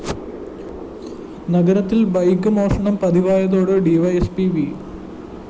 നഗരത്തില്‍ ബൈക്ക് മോഷണം പതിവായതോടെ ഡിവൈഎസ്പി വി